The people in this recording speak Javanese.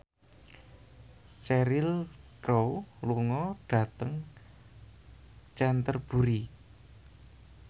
Cheryl Crow lunga dhateng Canterbury